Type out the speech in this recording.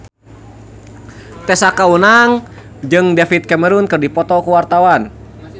Tessa Kaunang jeung David Cameron keur dipoto ku wartawan